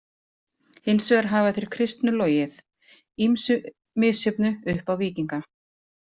Hins vegar hafa þeir kristnu logið ýmsu misjöfnu upp á víkinga.